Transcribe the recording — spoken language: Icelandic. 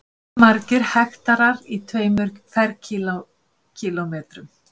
Hvað eru margir hektarar í tveimur ferkílómetrum?